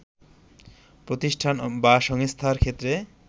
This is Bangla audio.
প্রতিষ্ঠান বা সংস্থার ক্ষেত্রে